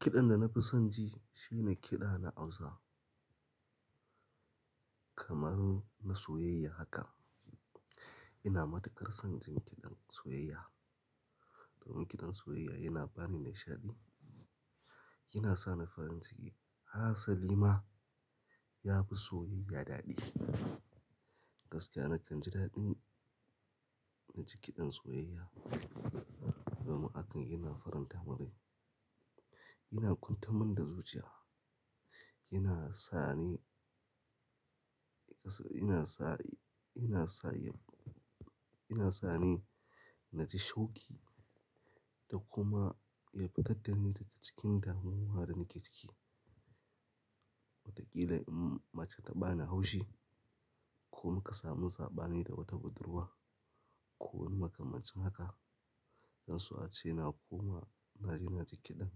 Kiɗan da na fi son ji shi ne kiɗa na Hausa. Kamar na soyayya haka, ina matukar son jin kiɗin soyayya. Domin kiɗan soyayya yana ba ni nishaɗi, yana sa ni farin ciki. Hassalima ya fi soyayya daɗi. Gaskiya nakan ji daɗin na ji kiɗan soyayya. Domin haka yana faranta man rai, yana ƙuantar min da zuciya, yana sa ni yana sa, yana sa, yana sa ni na ji shauƙi da kuma ya fitar da ni daga cikin damuwa da nake ciki. Watakila in mace ta bani haushi, ko muka samu sabani da wata budurwa, ko wani maka macen haka, zan so a ce na koma na ji na ji kiɗan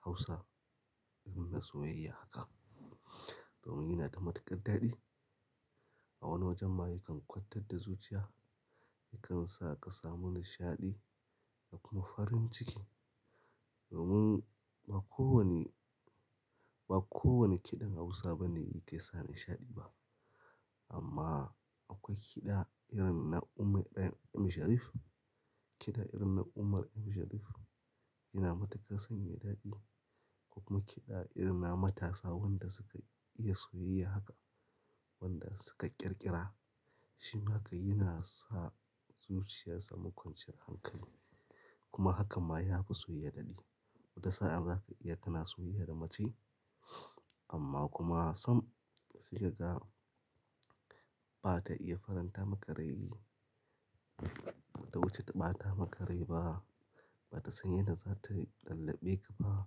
Hausa, idan na soyayya haka. Domin yana da matuƙar daɗi. A wani wajen ma yakan kwantar da zuciya, yakan sa ka samu nishaɗi da kuma farin ciki. Domin ba kowane, ba kowane kiɗan Hausa bane yake sa nishaɗi ba. Amma akwai kiɗa irin na Umi aa-- Ummi Sharif. Kiɗa irin na Umar M Sharif yana matuƙar sanya daɗi. Kuma kiɗa irin na matasa wanda suka iya soyayya haka, wanda suka ƙirƙira. Shin haka yana sa zuciyar samun kwanciyar hankali kuma haka ma ya fi soyayya daɗi. Wata sa'a zaka iya tana soyayya da mace amma kuma some sai kaga ba ta iya faranta maka rai Ta wuce ta ɓata maka rai ba, ba ta san yadda za ta lallaɓe ka ba,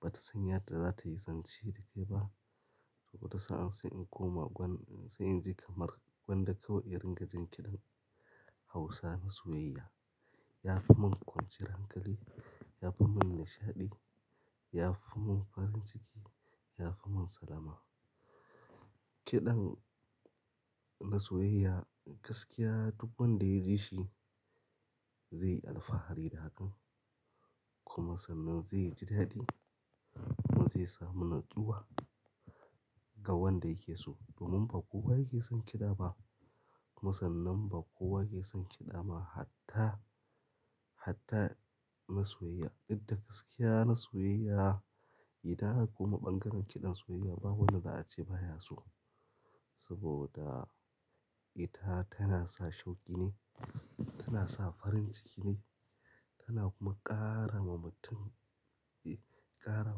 ba ta san yadda za ta yi zance da kai ba. Wata sa'a sai in koma gwan-- sai in je kamar gwanda kawai, irin ga jin kiɗan Hausa na soyayya. Ya fi mun kwanciyar hankali, ya fi mun nishaɗi, ya fi mun farin ciki, ya fi mun salama. Kiɗan na soyayya gaskiya duk wanda ya ji shi zai yi alfahari da hakan. Kuma sannan zai ji daɗi kuma zai samu natsuwa ga wanda yake so. Domin ba kowa yake son kiɗa ba. Musannan ba kowa yake son kiɗa ba. Hatta, hatta na soyayya. Dukda gaskiya na soyayya ita haka kuma ɓangaren kiɗan soyayya ba wanda za a ce ba ya so. Saboda ita tana sa shauƙi ne, tana sa farin ciki ne, tana kuma ƙara ma mutum, ƙara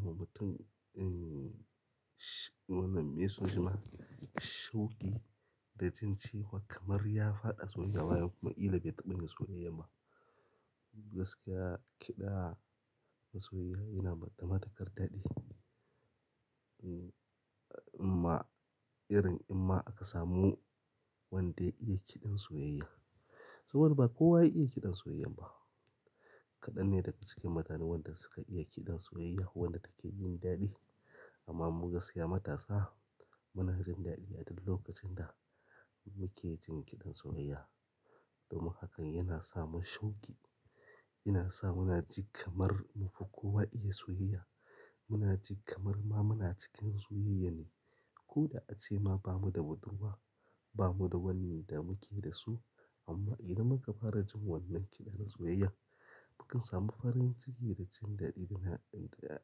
ma mutum, em, wannan me su zama? Shauƙi da jin cewa kamar ya faɗa soyayya kuma ƙila bai taɓa yin soyayya ba. Gaskiya kiɗa na soyayya yana matukar dadi. In ma--- irin in ma aka samu wanda ya iya kidin soyayya saboda ba kowa ya iya kidin soyayyan ba. Kadan ne daga cikin maganu wanda suka kidin soyayya wanda kake jin dadi. Amma mu gaskiya matasa, muna jin dadi aduk lokacin da muke jin kidan soyayya. Domin haka yana sa mun shauƙi, yana sa muna ji kamar mu fi kowa iya soyayya. Muna ji kamar ma muna cikin soyayya ne. Ko da a ce ma ba mu da budurwa, ba mu da wanni da muke da su amma idan muka fara jin wannan kiɗan soyayya, mukan samu farin ciki da jin daɗi da na, da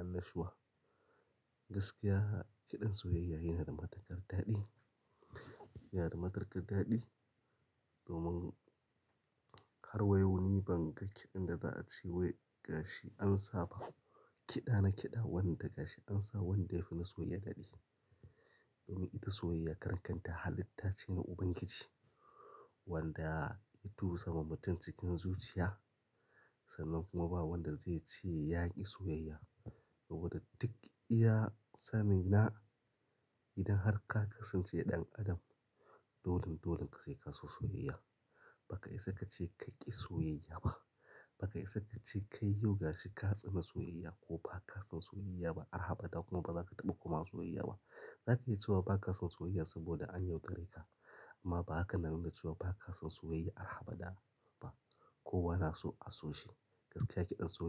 annashuwa. Gaskiya kiɗan soyayya yana da matuƙar daɗi. Yana da matuƙar daɗi domin har wa yau ni ban ga kiɗan da za a ce wai gashi an saba. Kiɗa na kiɗa wanda gashi an sa wanda ya fi na soyayya daɗi. Domin ita soyayya karan kanta halitta ce na Ubangiji wanda ya tusa wa mutum cikin zuciya. Sannan kuma ba wanda zai ce ya ƙi soyayya. Saboda duk iya sani na, idan har ka kasance ɗan adam, dolin dolin ka zai kasu soyayya. Baka isa ka ce ka ƙi soyayya ba. Baka isa ka ce kai yau gashi ka tsane soyayya ko ba ka san soyayya ba. Arhaɓaɗa kuma ba za ka taɓa kuma soyayya ba. Zaka iya cewa ba ka san soyayya saboda an yau dare ka. Amma ba haka nan ka cewa ba ka san soyayya har abada ba. Kowa na so a so shi. Gaskiya kiɗan soyayya.